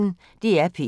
DR P1